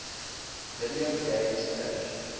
video game crash